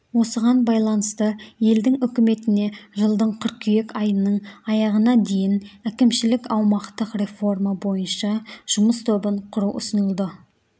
осыған байланысты елдің үкіметіне жылдың қыркүйек айының аяғына дейін әкімшілік-аумақтық реформа бойынша жұмыс тобын құру ұсынылды